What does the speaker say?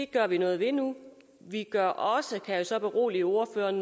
gør vi noget ved nu vi gør også kan jeg så berolige ordføreren